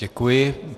Děkuji.